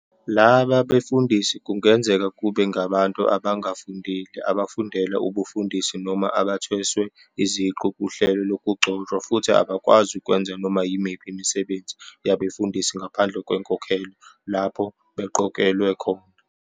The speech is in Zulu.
Laba befundisi kungenzeka kube ngabantu abangafundile, abafundela ubufundisi, noma abathweswe iziqu kuhlelo lokugcotshwa, futhi abakwazi ukwenza noma yimiphi imisebenzi yabefundisi ngaphandle kwenkokhelo lapho beqokelwe khona.